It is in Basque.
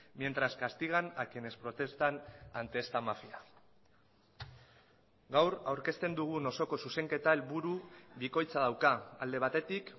mientras castigan a quienes protestan ante esta mafia gaur aurkezten dugun osoko zuzenketa helburu bikoitza dauka alde batetik